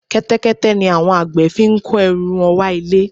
Kẹ́tẹ́kẹ́tẹ́ ni àwọn àgbẹ̀ fi ń kó ẹrù wọn wá ilé